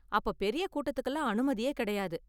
அப்ப பெரிய கூட்டத்துக்குலாம் அனுமதியே கிடையாது.